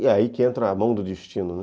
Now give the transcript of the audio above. E aí que entra a mão do destino, né?